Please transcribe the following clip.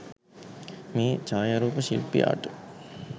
මේ ඡායාරූප ශිල්පියාට